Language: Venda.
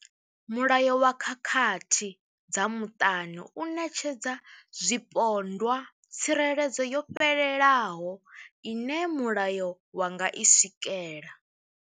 Mulayo wa khakhathi dza muṱani u ṋetshedza zwipondwa tsireledzo yo fhelelaho ine mulayo wa nga i swikela.